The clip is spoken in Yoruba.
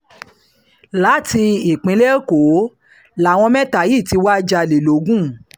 láti ìpínlẹ̀ èkó làwọn mẹ́ta yìí ti wáá jalè logun